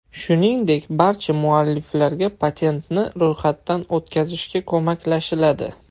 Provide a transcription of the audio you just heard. Shuningdek, barcha mualliflarga patentni ro‘yxatdan o‘tkazishga ko‘maklashiladi.